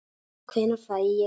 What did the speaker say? Hvenær fæ ég saltið?